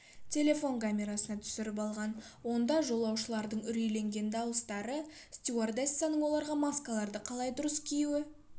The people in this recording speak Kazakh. шуды телефон камерасына түсіріп алған онда жолаушылардың үрейленген дауыстары стюардессаның оларға маскаларды қалай дұрыс кию